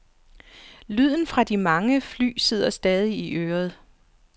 Lyden fra de mange fly sidder stadig i øret.